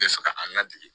N bɛ fɛ ka an ladege